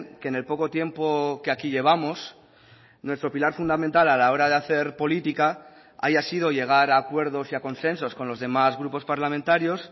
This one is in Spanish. que en el poco tiempo que aquí llevamos nuestro pilar fundamental a la hora de hacer política haya sido llegar a acuerdos y a consensos con los demás grupos parlamentarios